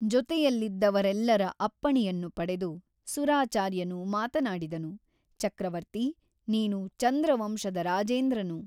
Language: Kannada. ಜೊತೆಯಲ್ಲಿದ್ದವರೆಲ್ಲರ ಅಪ್ಪಣೆಯನ್ನು ಪಡೆದು ಸುರಾಚಾರ್ಯನು ಮಾತನಾಡಿದನು ಚಕ್ರವರ್ತಿ ನೀನು ಚಂದ್ರವಂಶದ ರಾಜೇಂದ್ರನು.